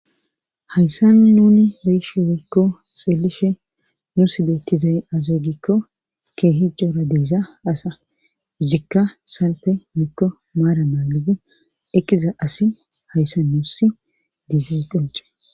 hayssan nuni be'ishe woykko xeelishe nuusi beetizay aazee gizay giiko keehi diza asazikka salfe woykko maaran naagidi eqiza asi hayssan nuusi dizay qoncce.